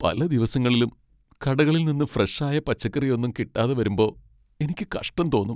പല ദിവസങ്ങളിലും കടകളിൽ നിന്ന് ഫ്രഷ് ആയ പച്ചക്കറിയൊന്നും കിട്ടാതെ വരുമ്പോ എനിക്ക് കഷ്ട്ടം തോന്നും .